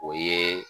O ye